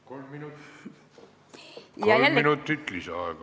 Kolm minutit lisaaega.